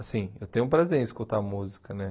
Assim, eu tenho um prazer em escutar música, né?